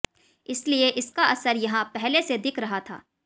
इसलिए इसका असर यहां पहले से दिख रहा था